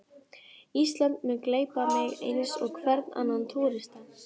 Ísland mun gleypa mig eins og hvern annan túrista.